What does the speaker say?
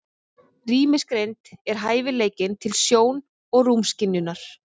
Rýmisgreind er hæfileikinn til sjón- og rúmskynjunar.